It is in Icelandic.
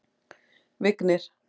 Vignir